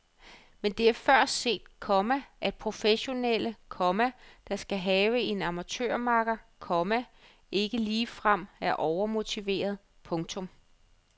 Men det er før set, komma at professionelle, komma der skal have en amatørmakker, komma ikke ligefrem er overmotiverede. punktum